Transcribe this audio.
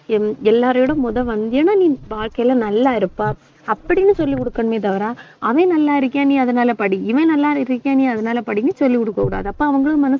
L~ எல்லாரோட முதல் வந்தியன்னா நீ வாழ்க்கையில நல்லா இருப்ப அப்படின்னு சொல்லிக் கொடுக்கணுமே தவிர அவன் நல்லா இருக்கான், நீ அதனால படி இவன் நல்லா இருக்கியா நீ அதனால படின்னு சொல்லிக் கொடுக்கக் கூடாது அப்ப அவங்களும்